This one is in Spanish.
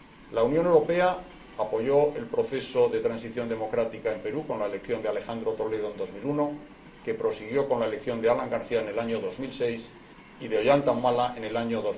La Unión Europea apoyó el proceso de transición democrática en el Perú, con la elección de Alejandro Toledo, en 2001, que prosiguió con la elección de Alan García, en el año 2006, y con la de Ollanta Humala, en el año